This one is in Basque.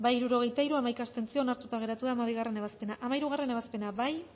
hirurogeita hiru boto aldekoa hamaika abstentzio onartuta geratu da hamabigarrena ebazpena hamairugarrena ebazpena bozkatu